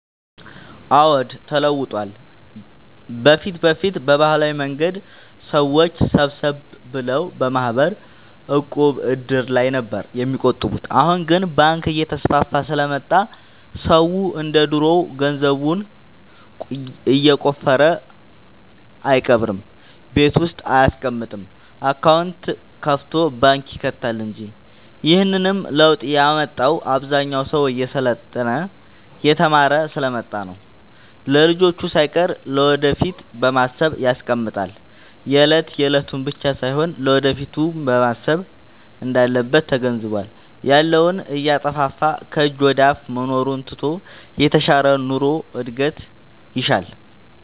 አዎድ ተለውጧል በፊት በፊት በባህላዊ መንገድ ሰዎች ሰብሰብ ብለው በማህበር፣ ዕቁብ፣ እድር ላይ ነበር የሚቆጥቡት አሁን ግን ባንክ እየተስፋፋ ስለመጣ ሰው እንደ ድሮ ገንዘቡን የቆፈረ አይቀብርም ቤት ውስጥ አይያስቀምጥም አካውንት ከፋቶ ባንክ ይከታል እንጂ ይህንንም ለውጥ ያመጣው አብዛኛው ሰው እየሰለጠነ የተማረ ስሐ ስለመጣ ነው። ለልጅቹ ሳይቀር ለወደፊት በማሰብ ያስቀምጣል የለት የለቱን ብቻ ሳይሆን ለወደፊቱም ማሰብ እንዳለበት ተገንዝቧል። ያለውን እያጠፋፋ ከጅ ወደአፋ መኖሩን ትቶ የተሻለ ኑሮ እድገት ይሻል።